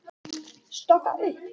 Stokka upp.